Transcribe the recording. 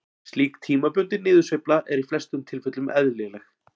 Slík tímabundin niðursveifla er í flestum tilfellum eðlileg.